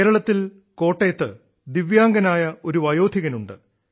കേരളത്തിൽ കോട്ടയത്ത് ദിവ്യാംഗനായ ഒരു വയോധികനുണ്ട്